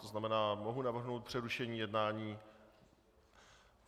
To znamená, mohu navrhnout přerušení jednání.